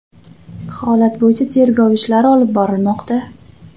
Holat bo‘yicha tergov ishlari olib borilmoqda.